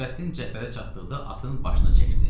Nurəddin Cəfərə çatdıqda atın başını çəkdi.